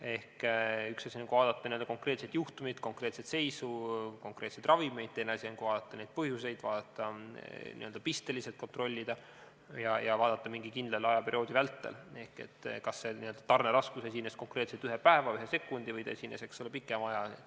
Ehk üks asi on vaadata konkreetset juhtumit, konkreetset seisu, konkreetseid ravimeid, teine asi on vaadata neid põhjuseid, pisteliselt kontrollida ja vaadata mingi kindla ajaperioodi vältel, kas tarneraskus esines konkreetselt ühe päeva, ühe sekundi või pikema aja jooksul.